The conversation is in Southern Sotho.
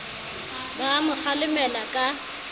ba a mo kgalemela ka